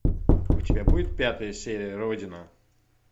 у тебя будет пятая серия родина